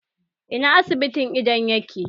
Ina asibitin idon yake?